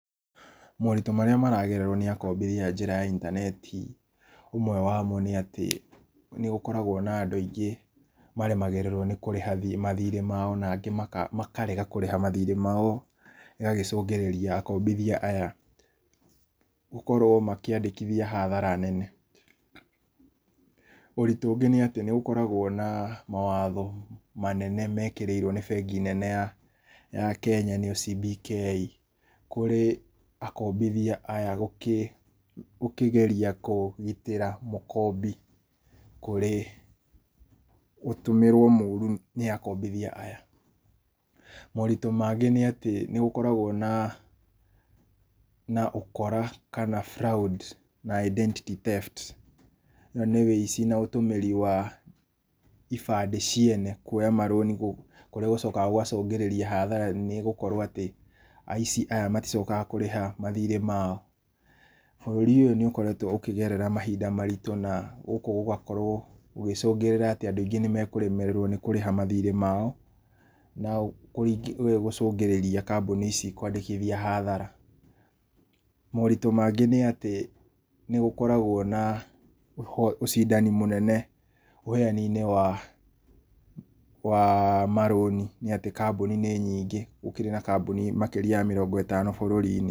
Moritũ marĩa maragererwo nĩ akombithia njĩra ya intaneti, ũmwe wamo, nĩ atĩ nĩgũkoragwo na andũ aingĩ maremagĩrĩrwo nĩ kũrĩha mathiirĩ mao, na angĩ makarega kũrĩha mathiirĩ mao ĩgagĩcũngĩrĩria akombithia aya gũkorwo makĩandĩkithia hathara nene, ũritũ ũngĩ nĩ atĩ nĩgũkoragwo na mawatho manene mekĩrĩirwo nĩ bengi nene ya Kenya nĩyo CBK, kũrĩ akombithia aya gũkĩgeria kũgitĩra mũkombi kũrĩ ũtũmĩrwo mũũru nĩ akombithia aya, moritũ mangĩ nĩ atĩ nĩgũkoragwo na ũkora kana fraud na identity theft, ũyũ nĩ ũici na ũtũmĩri wa ibandĩ ciene kuoya marũni kũrĩa gũcokaga gũgacũngĩrĩria hathara nene, nĩ gũkorwo atĩ aici aya maticokaga kũrĩha mathiirĩ mao. Bũrũri ũyũ nĩũkoragwo ũkĩgerera mahinda maritũ na gũkũ gũgakorwo gũgĩcũngĩrĩra atĩ andũ aingĩ nĩmekũremererwo nĩ kũrĩha mathiirĩ mao na gũcũngĩrĩria kambuni ici kwandĩkithia hathara. Moritũ mangĩ nĩ atĩ, nĩgũkoragwo na ũcindani mũnene ũheani-inĩ wa wa marũni, nĩ atĩ kambuni nĩ nyingĩ, gũkĩrĩ na kambuni makĩria ya mĩrongo ĩtano bũrũri-inĩ.